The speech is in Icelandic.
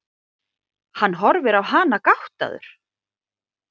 Hann horfir á hana gáttaður.